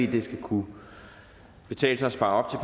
det skal kunne betale sig at spare op